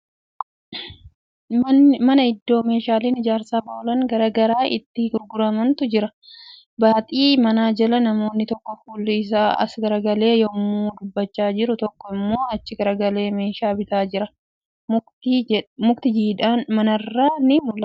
Mana iddoo meeshaaleen ijaarsaf oolan gara garaa itti gurguramantu argama. Baaxii mana jala namni tokko fuulli isaa as garagalee yemmuu dhaabachaa jiru tokko immoo achi garagalee meeshaa bitaa jira. Mukti jiidhaan manarraan ni mul'ata.